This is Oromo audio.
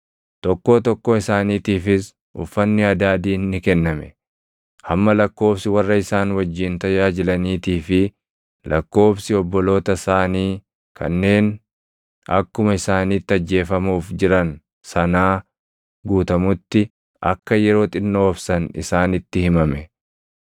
Tokkoo tokkoo isaaniitiifis uffanni adaadiin ni kenname; hamma lakkoobsi warra isaan wajjin tajaajilaniitii fi lakkoobsi obboloota isaanii kanneen akkuma isaaniitti ajjeefamuuf jiran sanaa guutamutti akka yeroo xinnoo obsan isaanitti himame.